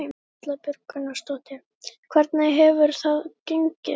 Erla Björg Gunnarsdóttir: Hvernig hefur það gengið?